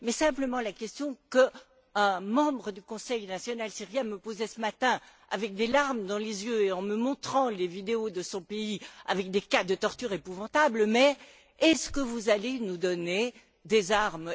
Mais la question qu'un membre du Conseil national syrien me posait ce matin, avec des larmes dans les yeux et en me montrant les vidéos de son pays, où se déroulent des cas de tortures épouvantables, c'est est ce que vous allez nous donner des armes?